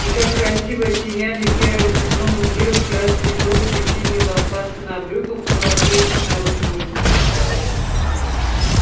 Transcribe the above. и как красиво оттеняли серое сукно мундиров красные жёлтые и синие лампасы на брюках указывающие на род войск